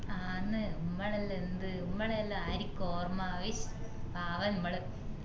ആന്നു മ്മളെല്ലാം എന്ത് മ്മളെ എല്ലാം ആരിക്ക് ഓര്മ ഉയ്യു പാവം മ്മള്